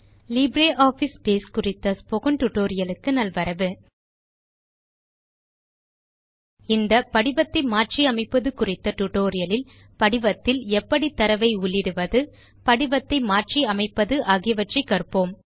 LibreOffice base குறித்த spoken tutorial க்கு நல்வரவு இந்த படிவத்தை மாற்றி அமைப்பது குறித்த டியூட்டோரியல் இல் படிவத்தில் எப்படி தரவை உள்ளிடுவது படிவத்தை மாற்றி அமைப்பது ஆகியவற்றை கற்போம்